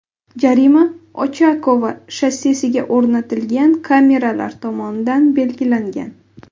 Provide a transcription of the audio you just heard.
Jarima Ochakovo shossesiga o‘rnatilgan kameralar tomonidan belgilangan.